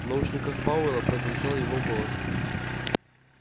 в наушниках пауэлла прозвучал его голос